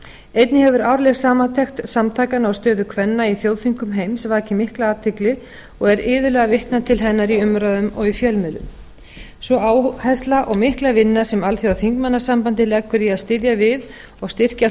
einnig hefur árleg samantekt samtakanna á stöðu kvenna í þjóðþingum heims vakið mikla athygli og er iðulega vitnað til hennar í umræðum og í fjölmiðlum sú áhersla og mikla vinna sem alþjóðaþingmannasambandið leggur í að styðja við og styrkja